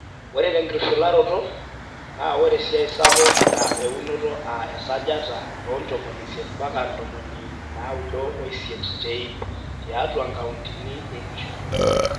Ore tenkishularoto, naa ore esiaai sapuk naa eunoto aa esajata e 80-98 te ipp tiatua nkautini ina shoto.